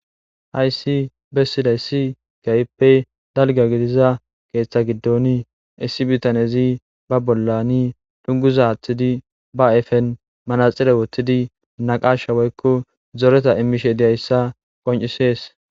Hayssi bessida issi gayppe dalga gidiza keeththa giddoni iissi bitanezi ba bollani dhunguzathtidi ba efen manaxile wottidi naqasha woykko zoreta imishe diyayssa qoncisees.